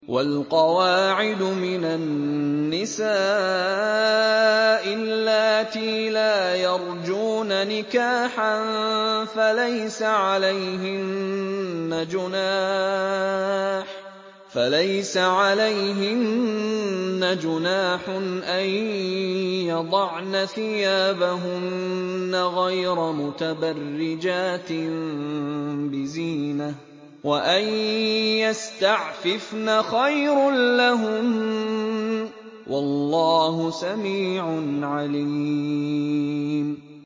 وَالْقَوَاعِدُ مِنَ النِّسَاءِ اللَّاتِي لَا يَرْجُونَ نِكَاحًا فَلَيْسَ عَلَيْهِنَّ جُنَاحٌ أَن يَضَعْنَ ثِيَابَهُنَّ غَيْرَ مُتَبَرِّجَاتٍ بِزِينَةٍ ۖ وَأَن يَسْتَعْفِفْنَ خَيْرٌ لَّهُنَّ ۗ وَاللَّهُ سَمِيعٌ عَلِيمٌ